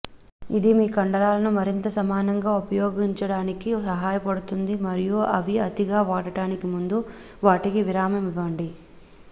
ఇది మీ కండరాలను మరింత సమానంగా ఉపయోగించటానికి సహాయపడుతుంది మరియు అవి అతిగా వాడడానికి ముందు వాటిని విరామం ఇవ్వండి